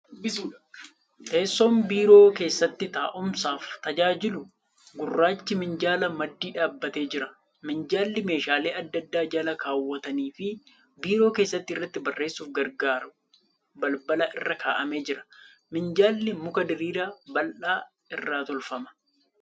Teessoon biiroo keessatti taa'umsaaf tajaajilu gurraachi minjaalaa maddii dhaabatee jira. Minjaalli meeshaalee adda addaa jala kaawwatanii fi biiroo keessatti irratti barreessuuf gargaaru balbala irra kaa'amee jira. Minjaalli muka diriiraa bal'aa irraa tolfama.